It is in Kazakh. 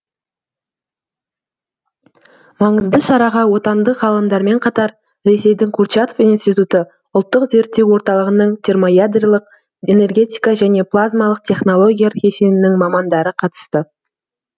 маңызды шараға отандық ғалымдармен қатар ресейдің курчатов институты ұлттық зерттеу орталығының термоядролық энергетика және плазмалық технологиялар кешенінің мамандары қатысты